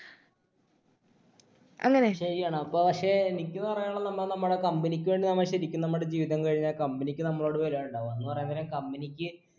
ശരിയാണ് അപ്പൊ പക്ഷെ എനിക്ക് പറയാനുള്ളത് നമ്മൾ നമ്മടെ company ക്ക് വേണ്ടി നമ്മ ശരിക്കു നമ്മടെ ജീവിതം കഴിഞ്ഞ company ക്ക് നമ്മോട് വിലയിണ്ടാവ എന്ന് പറയാൻ നേരം company ക്ക്